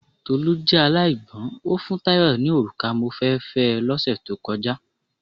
Tolú jẹ́ aláìgbọ́ń, o fún Tayo ni òrùka mo fẹ́ fẹ́ ẹ lọ́ sẹ̀ tó kọjá.